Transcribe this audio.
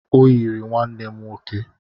Ọ yiri nwanne m nwoke